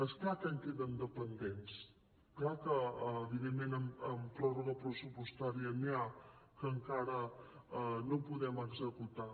és clar que en queden de pendents clar que evidentment amb pròrroga pressupostària n’hi ha que encara no podem executar